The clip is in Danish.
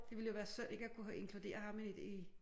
Det ville jo være synd ikke at kunne have inkludere ham i